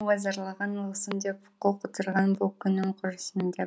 ғой зарлаған ұлысым деп құл құтырған бұл күнім құрысын деп